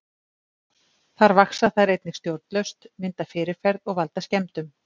Þar vaxa þær einnig stjórnlaust, mynda fyrirferð og valda skemmdum.